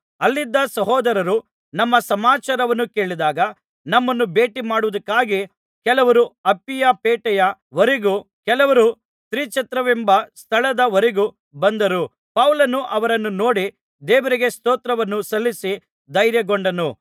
ಅಲ್ಲಿದ್ದ ಸಹೋದರರು ನಮ್ಮ ಸಮಾಚಾರವನ್ನು ಕೇಳಿದಾಗ ನಮ್ಮನ್ನು ಭೇಟಿಮಾಡುವುದಕ್ಕಾಗಿ ಕೆಲವರು ಅಪ್ಪಿಯಪೇಟೆಯ ವರೆಗೂ ಕೆಲವರು ತ್ರಿಛತ್ರವೆಂಬ ಸ್ಥಳದ ವರೆಗೂ ಬಂದರು ಪೌಲನು ಅವರನ್ನು ನೋಡಿ ದೇವರಿಗೆ ಸ್ತೋತ್ರವನ್ನು ಸಲ್ಲಿಸಿ ಧೈರ್ಯಗೊಂಡನು